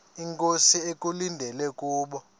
inkosi ekulindele kubo